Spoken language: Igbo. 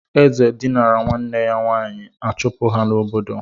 Eze dinira nwanne ya nwaanyị a chụpụ ha n'obodo.